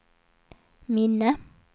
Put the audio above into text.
minne